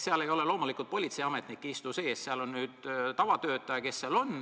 Seal ei istu sees loomulikult politseiametnik, seal on tavatöötaja.